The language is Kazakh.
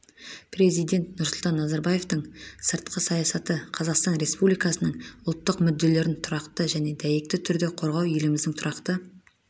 президент нұрсұлтан назарбаевтың сыртқы саясаты қазақстан республикасының ұлттық мүдделерін тұрақты және дәйекті түрде қорғау еліміздің тұрақты